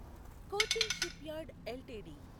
Cochin shipyard LTD